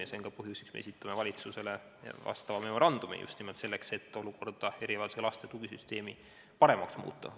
Ja see on ka põhjus, miks me esitame valitsusele vastava memorandumi – just nimelt selleks, et erivajadusega laste tugisüsteemi paremaks muuta.